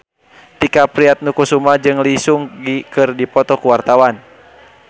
Tike Priatnakusuma jeung Lee Seung Gi keur dipoto ku wartawan